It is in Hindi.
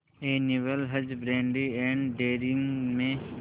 एनिमल हजबेंड्री एंड डेयरिंग में